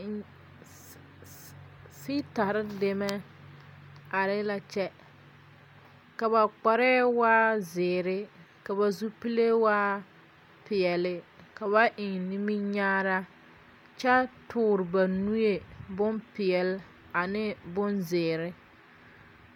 Fiitare la are ,ka ba kpare e zeɛ kyɛ ka ba zupile waa peɛle. Ba eŋ la nimikyaane kyɛ tɔɔre ba nuure ne nuwuure peɛle ane boŋziire